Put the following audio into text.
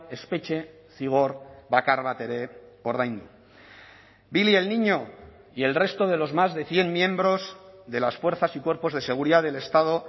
espetxe zigor bakar bat ere ordaindu billy el niño y el resto de los más de cien miembros de las fuerzas y cuerpos de seguridad del estado